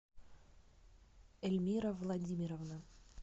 эльмира владимировна